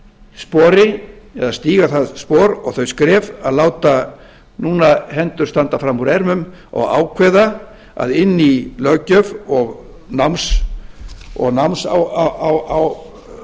spori eða að stíga það spor og þau skref að láta núna hendur standa fram úr ermum og ákveða að inn í löggjöf og